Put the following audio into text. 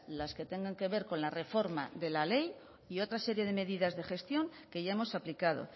las que tengan que ver con la reforma de la ley y otra serie de medidas de gestión que ya hemos aplicado